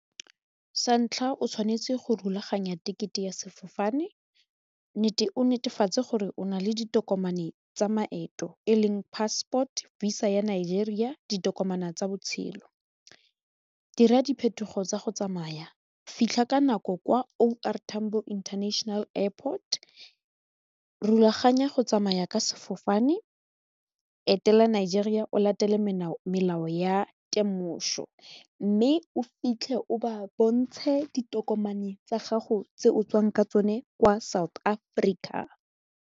Sa ntlha o tshwanetse go rulaganya tekete ya sefofane o netefatse gore o nale ditokomane tsa maeto e leng passport, visa ya Nigeria ditokomane tsa botshelo dira diphetogo tsa go tsamaya fitlha ka nako kwa O_R tambo international airport rulaganya go tsamaya ka sefofane etela Nigeria o latele melao ya temoso mme o fitlhe o ba bontshe ditokomane tsa gago tse o tswang ka tsone kwa South Africa.